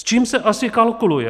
S čím se asi kalkuluje?